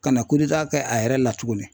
Ka na kɛ a yɛrɛ la tuguni